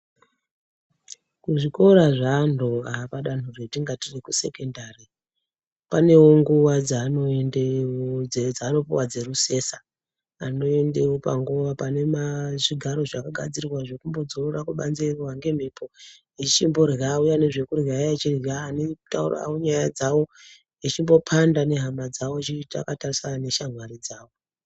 Kuzvikora zvevanhu apadanho ratingati rekusekendari pane nguwa dzavanoende dzavanopuwa dzerusesa anoendewo panguwa panemazvigaro zvakagadzirwa zvekumbodzorora kubanze echirohwa ngemhepo echimborya auya nezvekurya aya echirya